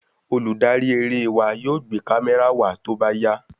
Olùdarí eré wa yóò gbé kamẹra wa tóbá yá